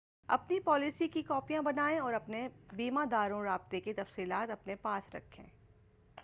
اپنی پالیسی کی کاپیاں بنائیں اور اپنے بیمہ داروں رابطے کی تفصیلات اپنے پاس رکھیں